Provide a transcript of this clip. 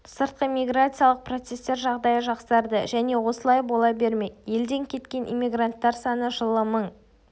сыртқы миграциялық процестер жағдайы жақсарды және осылай бола бермек елден кеткен эммигранттар саны жылы мың